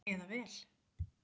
Eða vel?